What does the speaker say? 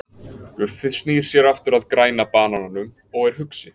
Guffi snýr sér aftur að Græna banananum og er hugsi.